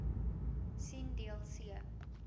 sien deel c